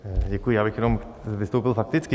Děkuji, já bych jenom vystoupil fakticky.